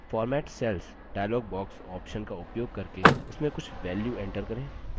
format cells dialog box options का उपयोग करके उसमें कुछ values enter करें